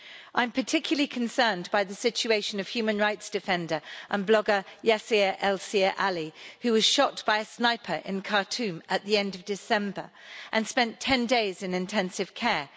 I'm particularly concerned by the situation of human rights defender and blogger Yasir Elsir Ali, who was shot by a sniper in Khartoum at the end of December and spent 10 days in intensive care.